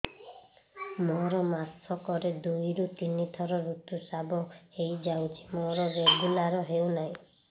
ମୋର ମାସ କ ରେ ଦୁଇ ରୁ ତିନି ଥର ଋତୁଶ୍ରାବ ହେଇଯାଉଛି ମୋର ରେଗୁଲାର ହେଉନାହିଁ